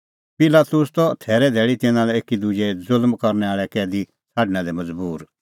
पिलातुस त थैरे धैल़ी तिन्नां लै एकी ज़ुल्म करनै आल़ै कैदी छ़ाडणा लै मज़बूर